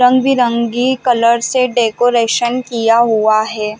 रंग-बिरंगी कलर से डेकोरेशन किया हुआ है।